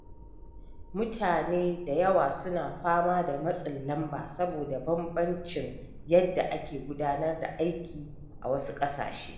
Mutane da yawa suna fama da matsin lamba saboda bambancin yadda ake gudanar da aiki a wasu ƙasashe.